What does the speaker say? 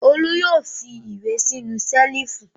Olú yóò fi ìwé sínú ṣẹ́lífù!